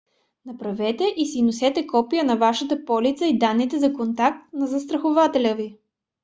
направете и си носете копия на вашата полица и данните за контакт на застрахователя ви